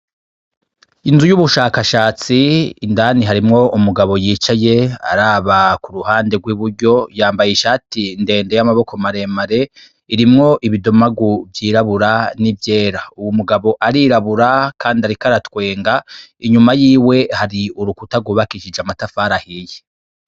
Inzu y'ubushakashatsi indani hariyo umugabo yicaye araba ku ruhande rw'iburyo yambaye ishati ndende y'amaboko maremare irimwo ibidomagu vyirabura n'ivyera uwo mugabo arirabura kandi ariko aratwenga inyuma yiwe hari urukuta gubakishije amatafari ahiye.